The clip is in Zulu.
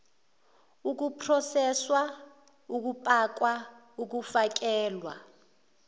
ukuproseswa ukupakwa ukufakelwa